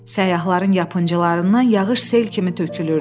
Səyyahların yapıncılarından yağış sel kimi tökülürdü.